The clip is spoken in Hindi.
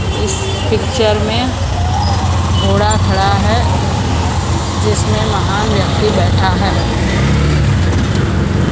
इस पिक्चर में घोड़ा खड़ा है जिसमें महान व्यक्ति बैठा है।